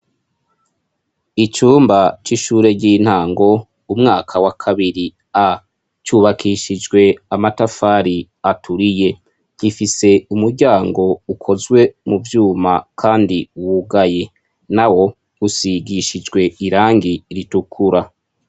Icumba c'ishuri ry'intango umwaka wa kabiri A cubakishijwe amatafari aturiye gifise umuryango ukozwe mu vyuma kandi wugaye nawo usigishijwe irangi ritukura.